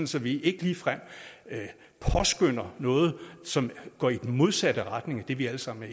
så vi ikke ligefrem påskønner noget som går i den modsatte retning af det vi alle sammen